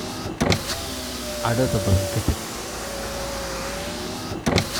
Cadhada badan ka tag.